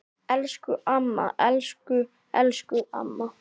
Elsku amma, elsku elsku amma.